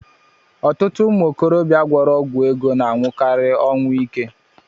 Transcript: Ọtụtụ ụmụ okorobịa gwọrọ ọgwụ ego na-anwụkari ọnwụ ike.